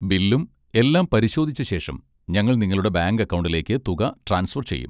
ബില്ലും എല്ലാം പരിശോധിച്ച ശേഷം, ഞങ്ങൾ നിങ്ങളുടെ ബാങ്ക് അക്കൗണ്ടിലേക്ക് തുക ട്രാൻസ്ഫർ ചെയ്യും.